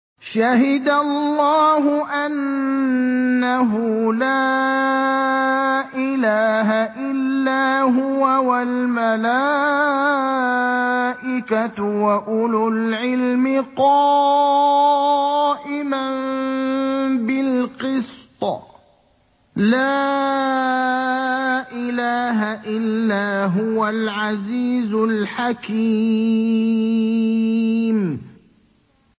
شَهِدَ اللَّهُ أَنَّهُ لَا إِلَٰهَ إِلَّا هُوَ وَالْمَلَائِكَةُ وَأُولُو الْعِلْمِ قَائِمًا بِالْقِسْطِ ۚ لَا إِلَٰهَ إِلَّا هُوَ الْعَزِيزُ الْحَكِيمُ